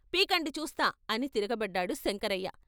" పీకండి చూస్తా " అని తిరగబడ్డాడు శంకరయ్య.